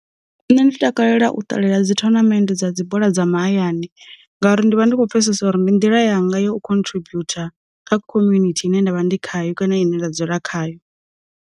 Nṋe ndi takalela u ṱalela dzi thonamende dza dzi bola dza mahayani ngauri ndi vha ndi khou pfesesa uri ndi nḓila yanga yo khontributha kha community ine nda vha ndi khayo kana ine nda dzula khayo.